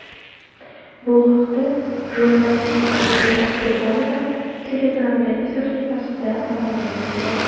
Bu haqda jurnalist Aziza Qurbonova Telegram’dagi sahifasida ma’lum qildi .